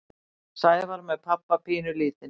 Sævar með pabba pínulítinn.